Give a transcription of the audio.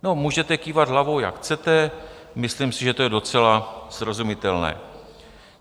No, můžete kývat hlavou, jak chcete, myslím si, že je to docela srozumitelné.